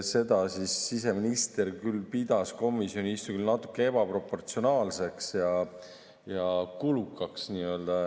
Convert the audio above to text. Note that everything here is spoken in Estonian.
Seda pidas siseminister komisjoni istungil küll natuke ebaproportsionaalseks ja kulukaks.